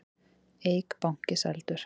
Eik banki seldur